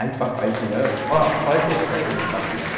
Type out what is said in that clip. Aí o papai dizia, ãh, óh, pode deixar que eu vou bater nela.